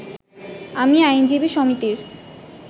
আমি আইনজীবী সমিতির